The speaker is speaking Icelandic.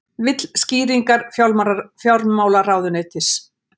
Vill skýringar fjármálaráðuneytis